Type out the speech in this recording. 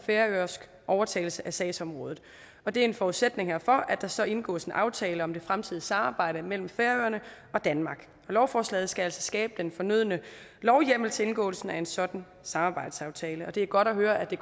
færøsk overtagelse af sagsområdet og det er en forudsætning herfor at der så indgås en aftale om det fremtidige samarbejde mellem færøerne og danmark lovforslaget skal altså skabe den fornødne lovhjemmel til indgåelsen af en sådan samarbejdsaftale og det er godt høre at det